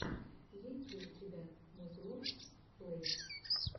есть ли у тебя музлофф плэй